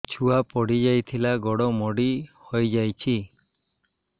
ଛୁଆ ପଡିଯାଇଥିଲା ଗୋଡ ମୋଡ଼ି ହୋଇଯାଇଛି